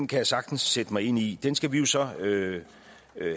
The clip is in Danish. kan jeg sagtens sætte mig ind i den skal vi jo så